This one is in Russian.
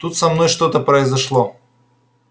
тут со мной что-то произошло